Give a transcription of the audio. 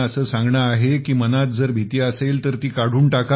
असे सांगणे आहे की जर मनात भीती असेल तर ती काढून टाका